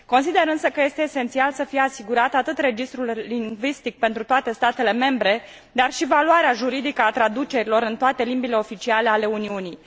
Consider însă că este esențial să fie asigurat atât registrul lingvistic pentru toate statele membre, dar și valoarea juridică a traducerilor în toate limbile oficiale ale Uniunii.